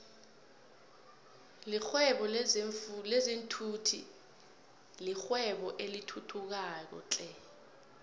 lihwebo lezinfhvthi yirwebo elithuthukayo flhe